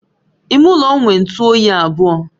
Ime ụlọ m nwe otu oyi abụọ